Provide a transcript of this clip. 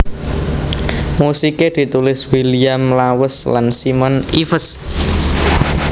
Musiké ditulis William Lawes lan Simon Ives